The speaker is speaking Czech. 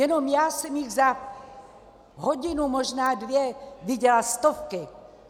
Jenom já jsem jich za hodinu, možná dvě, viděla stovky.